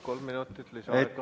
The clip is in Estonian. Kolm minutit lisaaega.